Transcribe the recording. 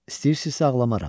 İstəyirsinizsə ağlamaram.